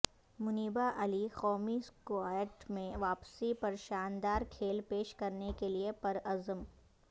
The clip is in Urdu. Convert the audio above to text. منیبہ علی قومی اسکواڈ میں واپسی پرشاندار کھیل پیش کرنے کے لیے پرعزم